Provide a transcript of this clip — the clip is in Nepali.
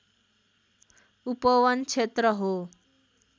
उपवन क्षेत्र हो